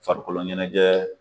Farikolo ɲɛnajɛ